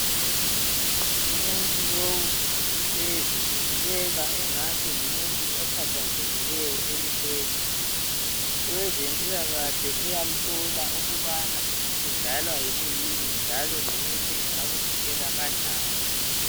Umuntu lowu uhlezi, ubukeka engathi ngumuntu okhathazekileyo elihlweni. Owezempilakahle uyamhlola ukubana kudalwa yikuyini njalo lokuthi engakuvikela kanjani.